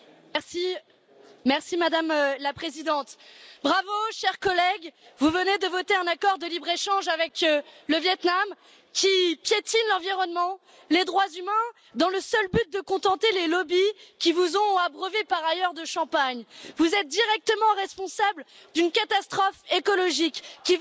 Madame la Présidente, chers collègues, bravo, vous venez de voter un accord de libre échange avec le Viêt Nam qui piétine l'environnement et les droits humains, dans le seul but de contenter les lobbies qui vous ont abreuvés par ailleurs de champagne. Vous êtes directement responsables d'une catastrophe écologique qui va accroître de 20 à 30